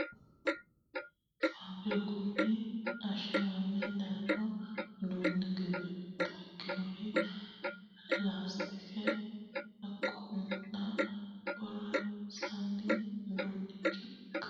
faabirikunni ashshagame daanno uduunni giddo mitto ikkinori laastike hunate horonsi'nanni uduunnicho ikkinota kultanno borro iimasi noote yaate kiirose lee ikkitannote